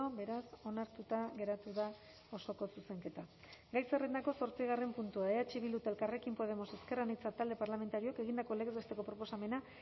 beraz onartuta geratu da osoko zuzenketa gai zerrendako zortzigarren puntua eh bildu eta elkarrekin podemos ezker anitza talde parlamentarioak egindako legez besteko proposamena